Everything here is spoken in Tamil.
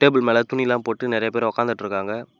டேபிள் மேல துணி எல்லா போட்டு நிறைய பேர் உட்காந்துட்ருக்காங்க.